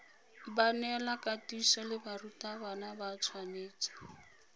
baneelakatiso le barutwana ba tshwanetse